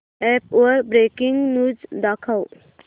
app वर breaking news दाखव